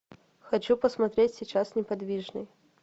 хочу посмотреть сейчас неподвижный